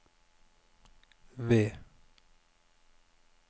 V